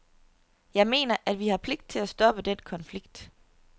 Jeg mener, at vi har pligt til at stoppe den konflikt.